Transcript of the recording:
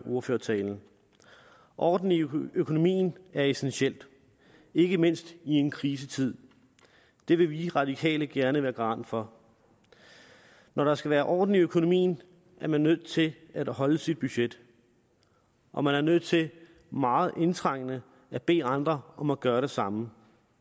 ordførertalen orden i økonomien økonomien er essentielt ikke mindst i en krisetid det vil vi radikale gerne være garant for når der skal være orden i økonomien er man nødt til at holde sit budget og man er nødt til meget indtrængende at bede andre om at gøre det samme